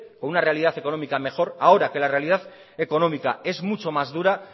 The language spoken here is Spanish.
con una realidad económica mejor ahora que la realidad económica es mucho más dura